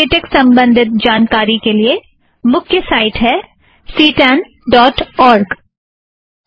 सभी लेटेक संबंधित जानकारी के लिए मुख्य साइट है सी टॆन डॉट और्ग ctanओआरजी